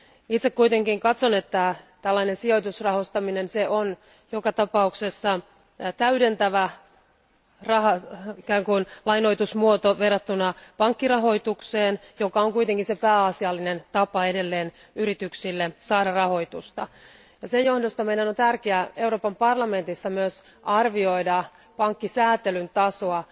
Itse kuitenkin katson, että tällainen sijoitusrahastoiminen on joka tapauksessa täydentävä, ikään kuin lainoitusmuoto, verrattuna pankkirahoitukseen, joka on kuitenkin se pääasiallinen tapa edelleen yrityksille saada rahoitusta. Sen johdosta meidän on tärkeää Euroopan parlamentissa myös arvioida pankkisääntelyn tasoa.